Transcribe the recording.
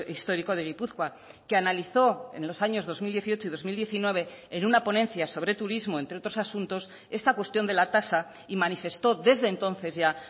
histórico de gipuzkoa que analizó en los años dos mil dieciocho y dos mil diecinueve en una ponencia sobre turismo entre otros asuntos esta cuestión de la tasa y manifestó desde entonces ya